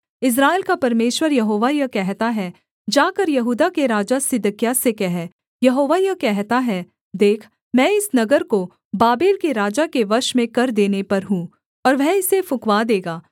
इस्राएल का परमेश्वर यहोवा यह कहता है जाकर यहूदा के राजा सिदकिय्याह से कह यहोवा यह कहता है देख मैं इस नगर को बाबेल के राजा के वश में कर देने पर हूँ और वह इसे फुँकवा देगा